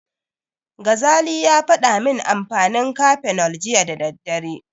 Gazali ya faɗa min amfanin Cafenol jiya da daddare.